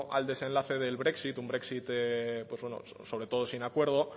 al desenlace del brexit un brexit sobre todo sin acuerdo